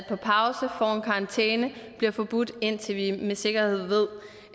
en karantæne og bliver forbudt indtil vi med sikkerhed ved